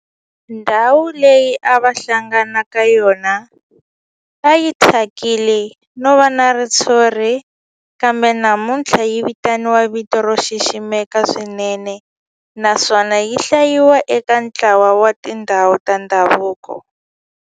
Ndhawu leyi a va hlangana ka yona a yi thyakile no va na ritshuri kambe namuntlha yi vitaniwa hi vito ro xiximeka swinene naswona yi hlayiwa eka ntlawa wa tindhawu ta ndhavuko.